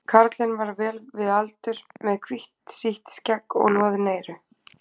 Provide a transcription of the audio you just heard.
Karlinn var vel við aldur, með hvítt sítt skegg og loðin eyru.